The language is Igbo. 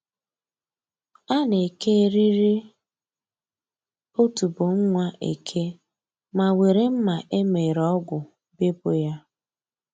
A na-eke eriri otubo nwa eke ma were mma e mere ọgwụ bepụ ya